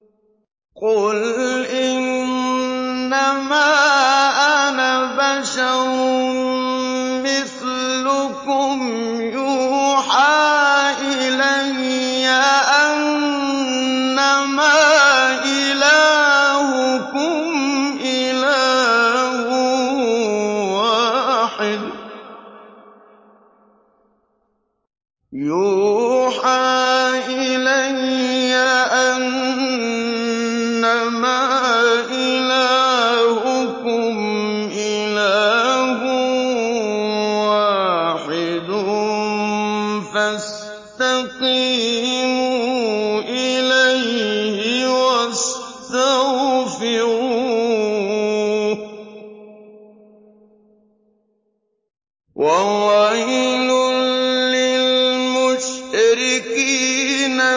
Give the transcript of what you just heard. قُلْ إِنَّمَا أَنَا بَشَرٌ مِّثْلُكُمْ يُوحَىٰ إِلَيَّ أَنَّمَا إِلَٰهُكُمْ إِلَٰهٌ وَاحِدٌ فَاسْتَقِيمُوا إِلَيْهِ وَاسْتَغْفِرُوهُ ۗ وَوَيْلٌ لِّلْمُشْرِكِينَ